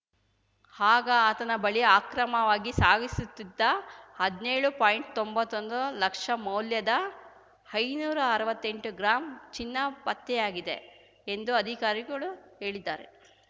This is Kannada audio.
ಆಗ ಆತನ ಬಳಿ ಅಕ್ರಮವಾಗಿ ಸಾಗಿಸುತ್ತಿದ್ದ ಹದ್ನೇಳು ಪಾಯಿಂಟ್ತೊಂಬತ್ತೊಂದು ಲಕ್ಷ ಮೌಲ್ಯದ ಐನೂರಾ ಅರ್ವತ್ತೆಂಟು ಗ್ರಾಂ ಚಿನ್ನ ಪತ್ತೆಯಾಗಿದೆ ಎಂದು ಅಧಿಕಾರಿಗಳು ಹೇಳಿದ್ದಾರೆ